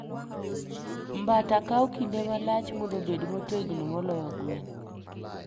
Mbata kawo kinde malach mondo obed motegno moloyo gwen.